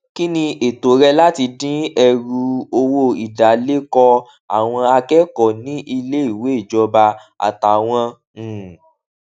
kí ni ètò rẹ láti dín ẹrù owó ìdálékòó àwọn akẹkọọ ní ilé ìwé ìjọba àtàwọn um